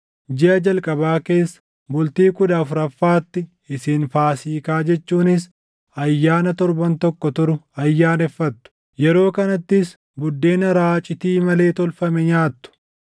“ ‘Jiʼa jalqabaa keessa, bultii kudha afuraffaatti isin Faasiikaa jechuunis ayyaana torban tokko turu ayyaaneffattu; yeroo kanattis buddeena raacitii malee tolfame nyaatu.